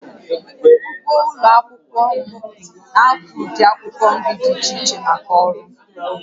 Ugbo ụlọ akwụkwọ m na-akụ ụdị akwụkwọ nri dị iche iche maka ọrụ